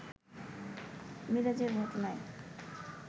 মিরাজের ঘটনা